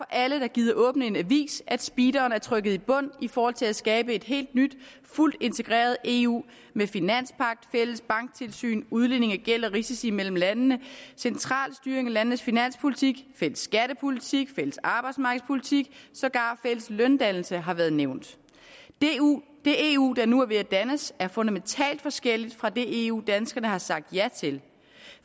alle der gider åbne en avis at speederen er trykket i bund i forhold til at skabe et helt nyt fuldt integreret eu med finanspagt fælles banktilsyn udligning af gæld og risici mellem landene central styring af landenes finanspolitik fælles skattepolitik fælles arbejdsmarkedspolitik og sågar fælles løndannelse har været nævnt det eu der nu er ved at dannes er fundamentalt forskelligt fra det eu danskerne har sagt ja til